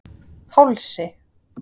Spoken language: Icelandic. Hálsi